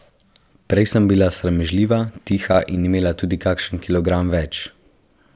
Prej sem bila sramežljiva, tiha in imela sem tudi kakšen kilogram več.